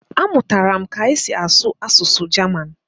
Amụtara m ka e si asụ asụsụ Jaman